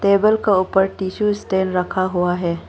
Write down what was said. Table का ऊपर tissue stand रखा हुआ है।